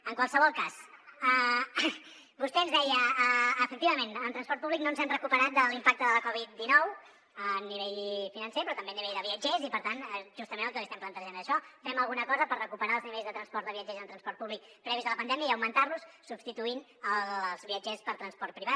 en qualsevol cas vostè ens deia efectivament en transport públic no ens hem recuperat de l’impacte de la covid dinou a nivell financer però tampoc a nivell de viatgers i per tant justament el que li estem plantejant és això fem alguna cosa per recuperar els nivells de transport de viatgers en transport públic previs a la pandèmia i augmentar los substituint els viatgers per transport privat